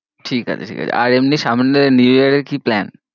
ঠিকাছে ঠিকাছে আর এমনি সামনে new year এর কি plan?